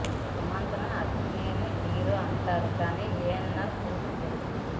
సుమంత్ ను అక్కినేని హీరో అంటారు కానీ ఏఎన్నార్ కూతురు కొడుకు